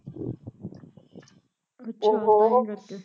ਅੱਛਾ ਤਾਂਹੀਂ ਕਰਕੇ